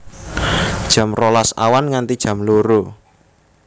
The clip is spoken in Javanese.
Jam rolas awan nganti jam loro